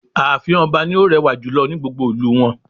Ààfin ọba ni ó rẹwà jùlọ ní gbogbo ìlú wọn